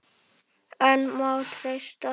En má treysta því?